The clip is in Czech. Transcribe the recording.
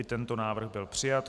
I tento návrh byl přijat.